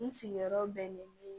N sigiyɔrɔ bɛnnen bɛ